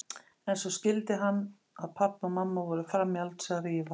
En svo skildi hann að pabbi og mamma voru frammi í eldhúsi að rífast.